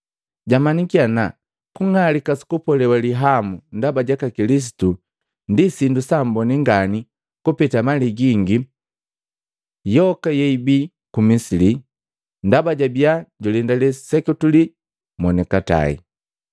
Jamanyiki ana kung'alika su kupolewa lihamu ndaba jaka Kilisitu, ndi sindu saamboni ngani kupeta mali gingi yoka yeibii ku Misili, ndaba jabiya julendale seketuli ja monikatae.